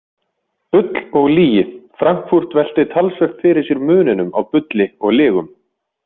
Bull og lygi Frankfurt veltir talsvert fyrir sér muninum á bulli og lygum.